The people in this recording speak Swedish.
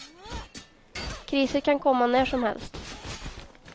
Kriser kan komma när som helst.